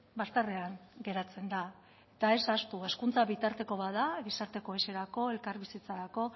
bazterrean geratzen da eta ez ahaztu hezkuntza bitarteko bat da gizarte kohesiorako elkarbizitzarako